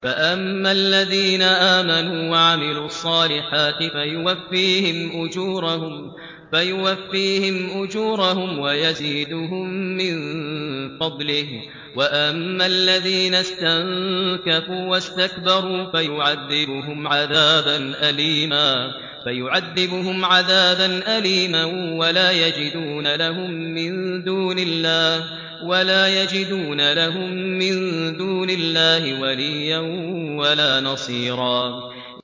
فَأَمَّا الَّذِينَ آمَنُوا وَعَمِلُوا الصَّالِحَاتِ فَيُوَفِّيهِمْ أُجُورَهُمْ وَيَزِيدُهُم مِّن فَضْلِهِ ۖ وَأَمَّا الَّذِينَ اسْتَنكَفُوا وَاسْتَكْبَرُوا فَيُعَذِّبُهُمْ عَذَابًا أَلِيمًا وَلَا يَجِدُونَ لَهُم مِّن دُونِ اللَّهِ وَلِيًّا وَلَا نَصِيرًا